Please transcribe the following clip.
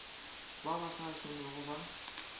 ba ba sa šomego ba